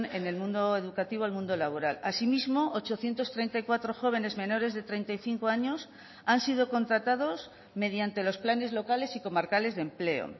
en el mundo educativo al mundo laboral asimismo ochocientos treinta y cuatro jóvenes menores de treinta y cinco años han sido contratados mediante los planes locales y comarcales de empleo